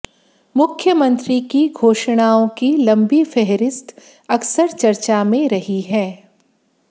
मुख्यमंत्री की घोषणाओं की लंबी फेहरिस्त अक्सर चर्चा में रही है